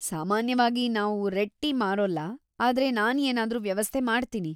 ಸಾಮಾನ್ಯವಾಗಿ ನಾವ್‌ red tea ಮಾರೋಲ್ಲ, ಆದ್ರೆ ನಾನ್‌ ಏನಾದ್ರೂ ವ್ಯವಸ್ಥೆ ಮಾಡ್ತೀನಿ.